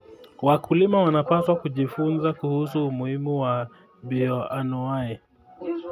Wakulima wanapaswa kujifunza kuhusu umuhimu wa bioanuwai.